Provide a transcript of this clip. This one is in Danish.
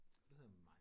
Og du hedder Mai?